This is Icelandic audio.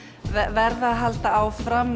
verða að halda áfram